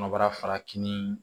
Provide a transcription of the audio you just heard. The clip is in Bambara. Kɔnɔbara farafin